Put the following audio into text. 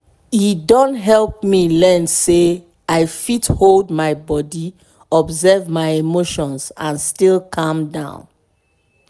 e don help me learn say i fit hold body observe my emotions and still calm down.